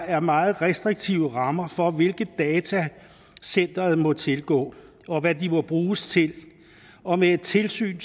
er meget restriktive rammer for hvilke data centeret må tilgå og hvad de må bruges til og med et tilsyn